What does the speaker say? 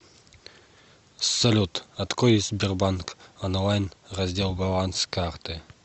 салют открой сбербанк онлайн раздел баланс карты